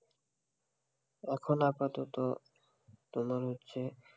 এখন আপাতত তোমার হচ্ছে.